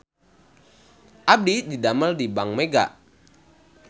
Abdi didamel di Bank Mega